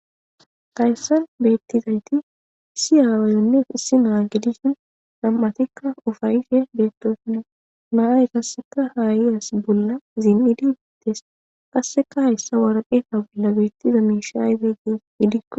Hayssan beettizayti issi aawaayonne issi naa gedishin nam7atikka ufayishe beettoosuno naay kasseka haayiyas bolla zim7idiites qasseka hayssa waraqefa bolla beettiza miishaaizee gees giidikko